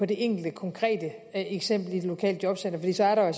det enkelte konkrete eksempel i det lokale jobcenter fordi så er der jo